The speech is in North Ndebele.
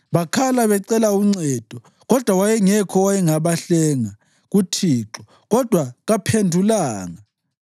Bakhala becela uncedo, kodwa wayengekho owayengabahlenga kuThixo, kodwa kaphendulanga.